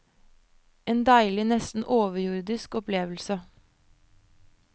En deilig, nesten overjordisk opplevelse.